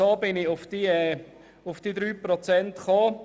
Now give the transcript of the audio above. So gelangte ich zu diesen 3 Prozent.